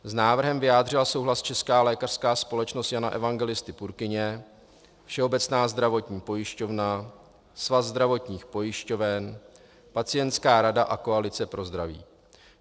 S návrhem vyjádřila souhlas Česká lékařská společnost Jana Evangelisty Purkyně, Všeobecná zdravotní pojišťovna, Svaz zdravotních pojišťoven, Pacientská rada a Koalice pro zdraví.